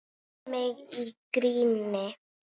Skammar mig í gríni.